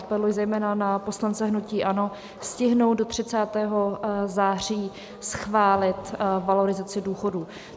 Apeluji zejména na poslance hnutí ANO stihnout do 30. září schválit valorizaci důchodů.